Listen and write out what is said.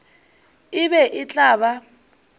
e be e tla ba